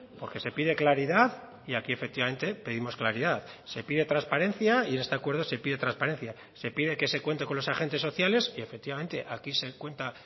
porque se pide claridad y aquí efectivamente pedimos claridad se pide transparencia y en este acuerdo se pide transparencia se pide que se cuente con los agentes sociales y efectivamente aquí se cuenta